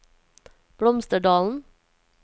Blomsterdalen